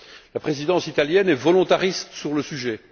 La présidence italienne est volontariste sur le sujet.